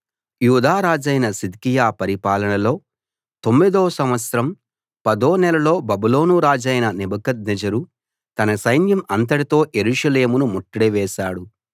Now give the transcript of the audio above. యూదా రాజైన సిద్కియా పరిపాలనలో తొమ్మిదో సంవత్సరం పదో నెలలో బబులోను రాజైన నెబుకద్నెజరు తన సైన్యం అంతటితో యెరూషలేమును ముట్టడి వేశాడు